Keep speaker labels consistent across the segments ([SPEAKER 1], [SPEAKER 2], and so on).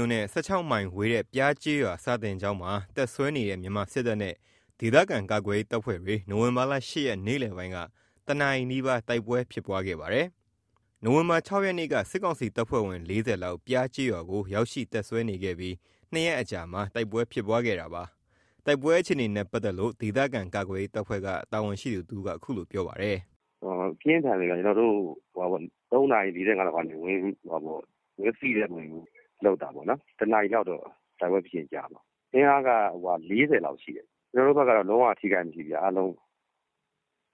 [SPEAKER 1] ို့နဲ့ ၁၆ မိုင်ဝေးတဲ့ ပျားကျေးရွာ စာသင်ကျောင်းမှာ တပ်စွဲနေတဲ့ မြန်မာစစ်တပ်နဲ့ ဒေသခံကာကွယ်ရေးတပ်ဖွဲ့တွေ နိုဝင်ဘာ ၈ ရက် နေ့လယ်ပိုင်းက ၁ နာရီနီးပါး တိုက်ပွဲဖြစ်ပွားခဲ့ပါတယ်။ နိုဝင်ဘာ ၆ ရက်နေ့က စစ်ကောင်စီတပ်ဖွဲ့ဝင် ၄၀ လောက် ပျားကျေးရွာကို ရောက်ရှိ တပ်စွဲနေခဲ့ပြီး ၂ ရက်အကြာမှာ တိုက်ပွဲဖြစ်ပွားခဲ့တာပါ။ တိုက်ပွဲအခြေအနေနဲ့ ပတ်သက်လို့ ဒေသခံကာကွယ်ရေးတပ်ဖွဲ့က တာဝန်ရှိသူတဦးက အခုလိုပြောပါတယ်
[SPEAKER 2] ။ “ပြင်းထန်တယ်ခင်ဗျ။ ကျွန်တော်တို့ ၃ နာရီ ၄၅ လောက်ကနေ ဝင်စီးတဲ့ပုံစံမျိုးလုပ်တာပေါ့နော်။ ၁ နာရီလောက်တော့ တိုက်ပွဲဖြစ်တာကြာမှာ။ အင်အားက ၄၀ လောက်ရှိတယ်။ ကျွန်တော်တို့ဘက်က လုံး၀ ထိခိုက်တာမရှိဘူး အားလုံး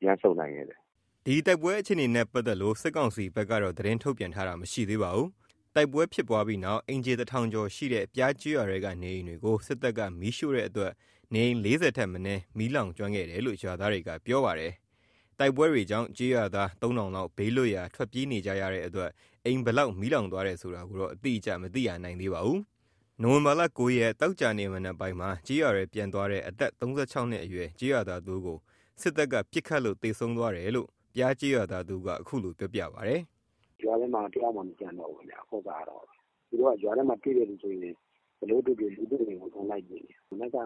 [SPEAKER 2] ပြန်ဆုတ်နိုင်ခဲ့တယ်
[SPEAKER 1] ။” တိုက်ပွဲအခြေနေနဲ့ ပတ်သက်လို့ စစ်ကောင်စီဘက်က သတင်းထုတ်ပြန်တာမရှိသေးပါဘူး။ တိုက်ပွဲဖြစ်ပွားပြီးနောက် အိမ်ခြေ ၁,၀၀၀ ကျော်ရှိတဲ့ ပျားကျေးရွာထဲက နေအိမ်တွေကို စစ်တပ်က မီးရှို့တဲ့အတွက် နေအိမ် ၄၀ ထက်မနည်း မီးလောင်ကျွမ်းခဲ့တယ်လို့ ရွာသားတွေက ပြောပါတယ်။ တိုက်ပွဲတွေကြောင့် ကျေးရွာသား ၃,၀၀၀ လောက် ဘေးလွတ်ရာ ထွက်ပြေးနေကြတဲ့အတွက် အိမ်ဘယ်လောက် မီးလောင်သွားတယ်ဆိုတာ အတိအကျ မသိရသေးပါဘူး။ နိုဝင်ဘာ ၉ ရက် သောကြာနေ့ မနက်ပိုင်းမှာ ကျေးရွာထဲ ပြန်သွားတဲ့ အသက် ၃၆ နှစ်အရွယ် ကျေးရွာသားတဦးကို စစ်တပ်က ပစ်ခတ်လို့ သေဆုံးသွားတယ်လို့ ပျားကျေးရွာသားတဦးက အခုလိုပြောပြပါတယ်။
[SPEAKER 3] “ရွာထဲမှာတယောက်မှမကျန်တော့ဘူး ရွာထဲမှာ တွေ့တဲ့သူဆိုရင် ဘယ်လိုတွေ့တွေ့ လူတွေ့ရင်ကို အကုန်လိုက်ပစ်နေတာ။ မနက်က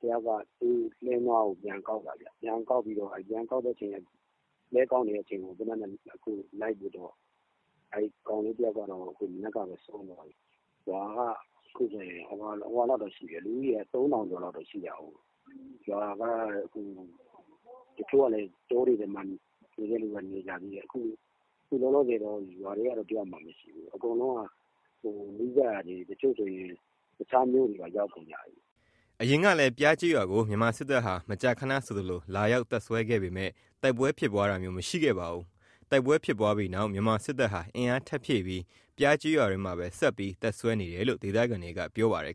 [SPEAKER 3] တယောက်က လှည်းနွားကို ပြန်ကောက်တာခင်ဗျ။ ပြန်ကောက်ပြီးတော့ ပြန်ကောက်တဲ့အချိန် လှည်းကောက်နေတဲ့အချိန်ကို လိုက်ပစ်တော့ မနက်ကဘဲ ကောင်လေးတယောက်က ဆုံးသွားတယ်။ ရွာက အခုဆိုရင် လူဦးရေ ၃,၀၀၀ လောက်ရှိတာကို တချို့က တောတွေထဲနေတဲ့သူက နေကြတယ်။ အခုကရွာထဲမှာ တယောက်မှမရှိတော့ဘူး။ နီးစပ်ရာတွေသွားကြတယ်။ တချို့ဆိုရင် တခြားမြို့တွေကိုပါ ရောက်ကုန်ကြပြီ။”
[SPEAKER 1] အရင်ကလည်း ပျားကျေးရွာကို မြန်မာစစ်တပ်ဟာ မကြာခဏဆိုသလို လာရောက်တပ်စွဲပေမယ့် တိုက်ပွဲဖြစ်ပွားခဲ့တာမျိုး မရှိခဲ့ပါဘူး။ တိုက်ပွဲဖြစ်ပြီးနောက် မြန်မာစစ်တပ်ဟာ အင်အားထပ်ဖြည့်ပြီး ပျားကျေးရွာထဲမှာပဲ ဆက်ပြီး တပ်စွဲနေတယ်လို့ ဒေသခံတွေက ပြောပါတယ်